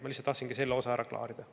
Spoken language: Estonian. Ma tahtsin lihtsalt selle osa ära klaarida.